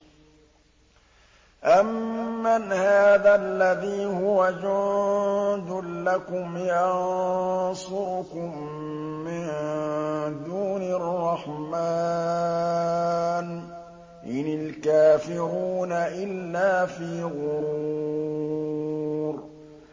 أَمَّنْ هَٰذَا الَّذِي هُوَ جُندٌ لَّكُمْ يَنصُرُكُم مِّن دُونِ الرَّحْمَٰنِ ۚ إِنِ الْكَافِرُونَ إِلَّا فِي غُرُورٍ